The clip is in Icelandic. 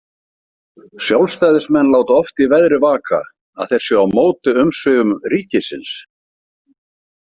Sjálfstæðismenn láta oft í veðri vaka að þeir séu á móti umsvifum ríkisins.